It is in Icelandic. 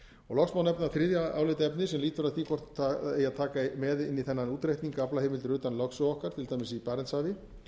loks má nefna þriðja álitaefnið sem lýtur að því hvort eigi að taka með inn í þennan útreikning aflaheimildir utan lögsögu okkar til dæmis í barentshafi